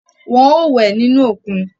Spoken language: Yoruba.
Wọn o wẹ nínú òkun